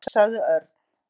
Loks sagði Örn.